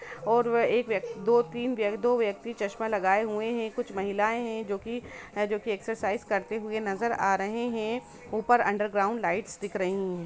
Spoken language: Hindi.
और व एक व्यक्त-दो तिन व्यक्ति चश्मा लगाये हुए है कुछ महलायें है जो की अक्सर साईज करते हुए नजर आ रहे है ऊपर अंडरग्राउंड लाईट लाइट्स दिख रही है।